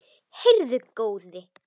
Heyrðu góði!